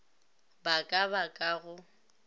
ba ka ba ka go